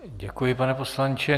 Děkuji, pane poslanče.